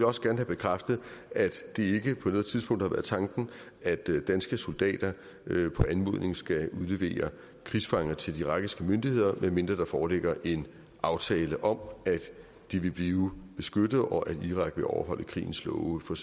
også gerne have bekræftet at det ikke på noget tidspunkt har været tanken at danske soldater på anmodning skal udlevere krigsfanger til de irakiske myndigheder medmindre der foreligger en aftale om at de vil blive beskyttet og at irak vil overholde krigens love for